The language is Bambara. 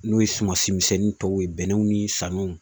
N'o ye sumansi misɛnnin tɔw ye bɛnɛnw ni saɲɔw